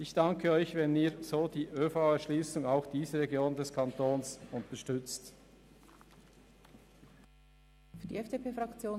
Ich danke Ihnen, wenn Sie die ÖV-Erschliessung auch dieser Region des Kantons unterstützen.